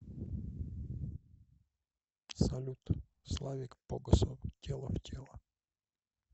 салют славик погосов тело в тело